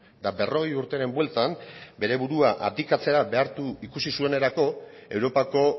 eta berrogei urteren bueltan bere burua abdikatzera behartuta ikusi zuenerako europako